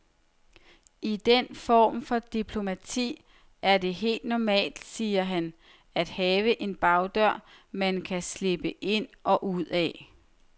I den form for diplomati er det helt normalt, siger han, at have en bagdør man kan slippe ind og ud af.